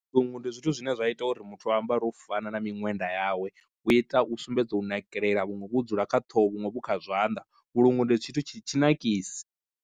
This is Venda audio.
Vhulungolu ndi zwithu zwine zwa ita uri muthu a ambare u fana na miṅwenda yawe, vhu ita u sumbedza u nakelela vhuṅwe vhu dzula kha ṱhoho vhuṅwe vhu kha zwanḓa, vhulungu ndi tshithu tshi tshi nakisi.